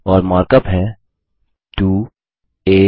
और मार्कअप है160 2